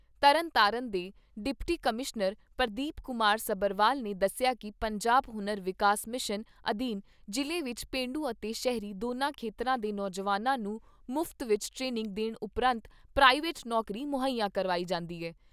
ਤਰਨ ਤਾਰਨ ਦੇ deputy commissioner Pardeep Kumar Sabharwal ਨੇ ਦੱਸਿਆ ਕਿ ਪੰਜਾਬ ਹੁਨਰ ਵਿਕਾਸ ਮਿਸ਼ਨ ਅਧੀਨ ਜ਼ਿਲ੍ਹੇ ਵਿੱਚ ਪੇਂਡੂ ਅਤੇ ਸ਼ਹਿਰੀ ਦੋਨਾ ਖੇਤਰਾਂ ਦੇ ਨੌਜਵਾਨਾਂ ਨੂੰ ਮੁਫਤ ਵਿੱਚ ਟ੍ਰੇਨਿੰਗ ਦੇਣ ਉਪਰੰਤ ਪ੍ਰਾਈਵੇਟ ਨੌਕਰੀ ਮੁਹੱਈਆ ਕਰਵਾਈ ਜਾਂਦੀ ਐ।